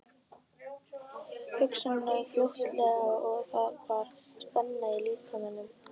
Hugsanirnar flóttalegar og það var spenna í líkamanum.